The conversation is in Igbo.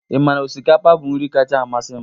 Ị ma na osikapa bụ nri kacha amasị m?